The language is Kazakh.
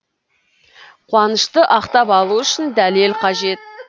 қуанышты ақтап алу үшін дәлел қажет